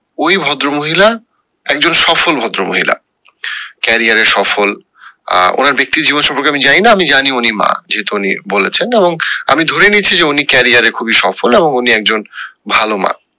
ওই ভদ্র মহিলা একজন সফল ভদ্র মহিলা career এ সফল আহ ওনার ব্যাক্তিগত জীবন সম্পর্কে আমি জানি না আমি জানি উনি মা যেহেতু উনি বলেছেন এবং আমি ধরে নিয়েছি যে উনি career এ খুবই সফল এবং উনিও একজন ভালো মা